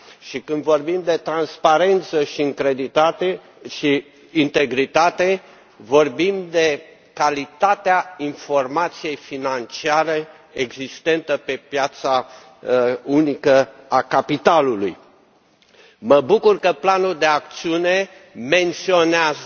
Și când vorbim de transparență și integritate, vorbim de calitatea informației financiare existente pe piața unică a capitalului. Mă bucur că planul de acțiune menționează